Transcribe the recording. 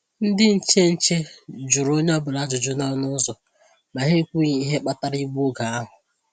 Ndị nche nche jụrụ onye ọ́bụla ajụjụ n’ọnụ ụzọ, ma ha ekwughi ihe kpatara igbu oge ahụ.